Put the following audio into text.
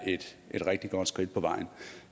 et rigtig godt skridt på vejen